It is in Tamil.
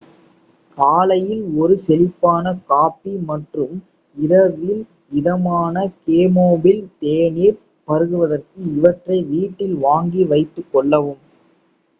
காலையில் ஒரு செழிப்பான காபி மற்றும் இரவில் இதமான கேமோமில் தேநீர் பருகுவதற்கு இவற்றை வீட்டில் வாங்கி வைத்துகொள்ளவும்